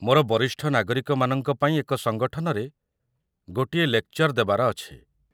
ମୋର ବରିଷ୍ଠ ନାଗରିକମାନଙ୍କ ପାଇଁ ଏକ ସଙ୍ଗଠନରେ ଗୋଟିଏ ଲେକ୍‌ଚର୍ ଦେବାର ଅଛି ।